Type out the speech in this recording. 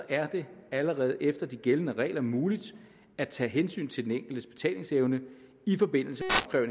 er det allerede efter de gældende regler muligt at tage hensyn til den enkeltes betalingsevne i forbindelse